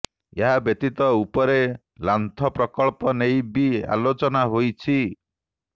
ଏହା ବ୍ୟତୀତ ଉପର ଲାନ୍ଥ ପ୍ରକଳ୍ପ େନଇ ବି ଆେଲାଚନା େହାଇଛି